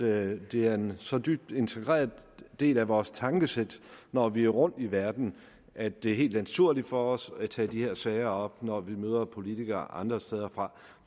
at det er en så dybt integreret del af vores tankesæt når vi er rundt i verden at det er helt naturligt for os at tage de her sager op når vi møder politikere andre steder fra